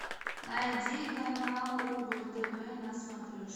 найди канал рубль тв на смотрешке